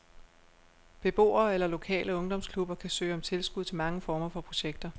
Beboere eller lokale ungdomsklubber kan søge om tilskud til mange former for projekter.